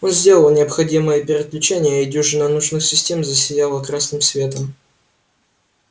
он сделал необходимые переключения и дюжина нужных систем засияла красным светом